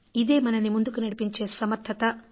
ఇదే మనని ముందుకి నడిపించే సమర్థత